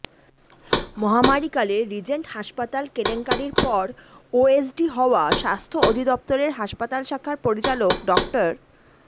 মহামারীকালে Regent হাসপাতাল কেলেঙ্কারির পর ওএসডি হওয়া স্বাস্থ্য অধিদপ্তরের হাসপাতাল শাখার পরিচালক ডা